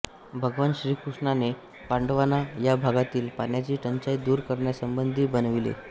भगवान श्रीकृष्णाने पांडवांना या भागातील पाण्याची टंचाई दूर करण्यासंबंधी विनविले